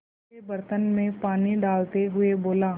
उसके बर्तन में पानी डालते हुए बोला